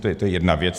To je jedna věc.